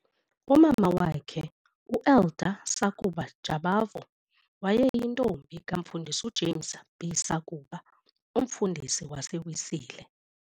Umama wakhe, u-Elda Sakuba Jabavu, wayeyintombi kaMfundisi uJames B Sakuba, umfundisi waseWesile.